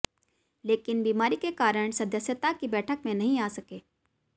लेकिन बीमारी के कारण सदस्यता की बैठक में नहीं आ सके